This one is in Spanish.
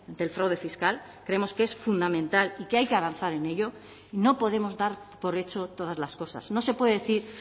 del fraude fiscal creemos que es fundamental y que hay que avanzar en ello y no podemos dar por hecho todas las cosas no se puede decir